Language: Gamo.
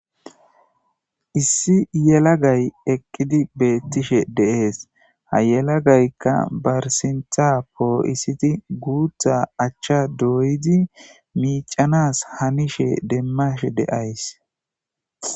Issi yelagay eqidi betishe dees ha yelagayka ba sinta po'isidi guta acha doyidi mic'anas hanishe demashe de'ays.